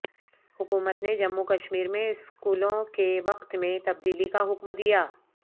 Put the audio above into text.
حکومت نے جموں کشمیر میں اسکولوں کے وقت میں تبدیلی کا حکم دیا